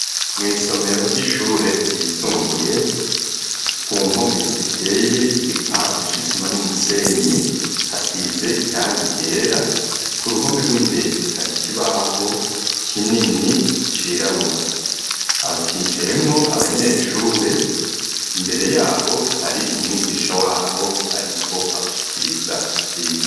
Mw'isomero ry'ishure ryisumbuye, ku mpome ziteye igipande c'isima n'umusenyi, hasize irangi ryera, ku ruhome rw'imbere hari kibaho kinini cirabura ,hicayemwo abanyeshure, imbere yabo hari umwigisha wabo, ariko abashikiriza ivyigwa.